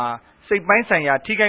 ာ စိတ်ပိုင်းဆိုင်ရာ ထိခိုက